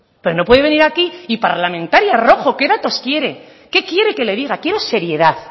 pero no puede venir aquí y parlamentaria rojo qué datos quiere qué quiere que le diga quiero seriedad